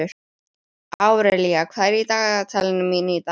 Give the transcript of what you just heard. Árelía, hvað er í dagatalinu mínu í dag?